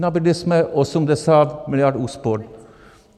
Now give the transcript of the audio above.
Nabídli jsme 80 miliard úspor.